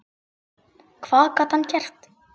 Hvað gat hann gert?